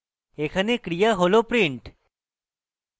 এখানে ক্রিয়া হল print